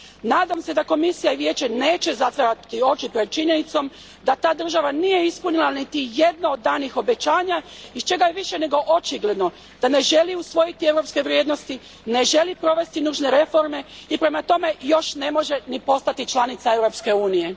Nadam se da Komisija i Vijeće neće zatvarati oči pred činjenicom da ta država nije ispunila niti jedno od danih obećanja iz čega je više nego očigledno da ne želi usvojiti europske vrijednosti, ne želi provesti nužne reforme i prema tome još ne može ni postati članica Europske unije.